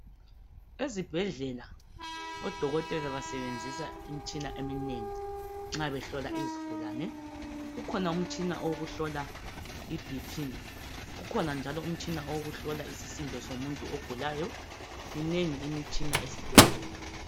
Ezibhedlela odokotela basebenzisa imitshina eminengi nxa behlola izigulane kukhona umtshina owokuhlola iBP, kukhona njalo umtshina wokuhlola isisindo somuntu ogulayo minengi imitshina esibhedlela.